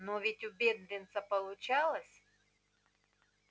но ведь у бедренца получалось